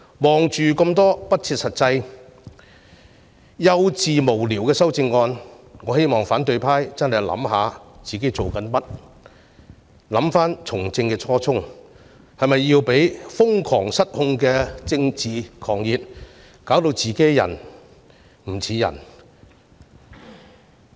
看到這些不切實際、幼稚無聊的修正案，我希望反對派認真反省他們的所作所為，回想他們從政的初衷，是否要讓瘋狂失控的政治狂熱弄得自己"人唔似人"。